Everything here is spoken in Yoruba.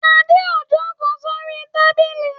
Adé ń ó ń jókòó sórí tábìlì.